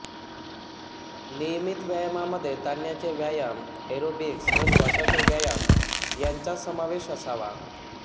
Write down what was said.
नियमित व्यायामामध्ये ताणण्याचे व्यायाम एरोबिक्स व श्वासाचे व्यायाम यांचा समावेश असावा